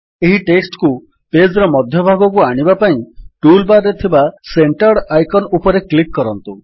ଏହି ଟେକ୍ସଟ୍ କୁ ପେଜ୍ ର ମଧ୍ୟ ଭାଗକୁ ଆଣିବା ପାଇଁ ଟୁଲ୍ ବାର୍ ଥିବା ସେଣ୍ଟର୍ଡ ଆଇକନ୍ ଉପରେ କ୍ଲିକ୍ କରନ୍ତୁ